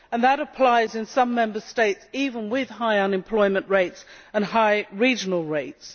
That applies even in some Member States with high unemployment rates and high regional rates.